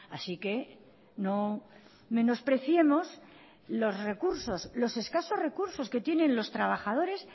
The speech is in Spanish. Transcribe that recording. así que no menospreciemos los recursos los escasos recursos que tienen los trabajadores